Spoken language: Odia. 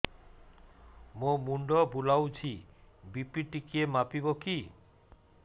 ମୋ ମୁଣ୍ଡ ବୁଲାଉଛି ବି.ପି ଟିକିଏ ମାପିବ କି